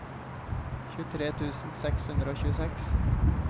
tjuetre tusen seks hundre og tjueseks